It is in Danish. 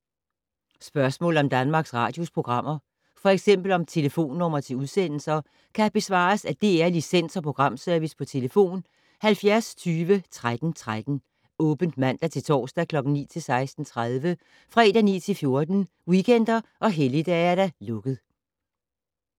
Spørgsmål om Danmarks Radios programmer, f.eks. om telefonnumre til udsendelser, kan besvares af DR Licens- og Programservice: tlf. 70 20 13 13, åbent mandag-torsdag 9.00-16.30, fredag 9.00-14.00, weekender og helligdage: lukket.